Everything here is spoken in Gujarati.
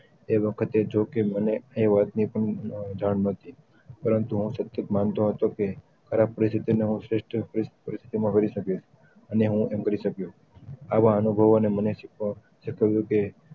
એ વખતે જો કે મને એ વાત ની પણ જાન નથી પરંતુ હું શક્ય માનતો હતો કે ખરાબ પરિસ્થિતિ નો શ્રેષ્ઠ પરિસ્થિતિ માં કરી સક્યે અને હું એમ કરી સક્યો આવા અનુભવો એ મને શીક્વાય્યું કે